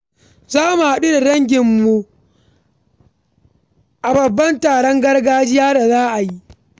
Za mu haɗu da danginmu a babban taron gargajiya da za a yi.